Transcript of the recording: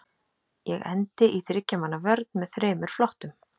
Ég endi í þriggja manna vörn með þremur flottum.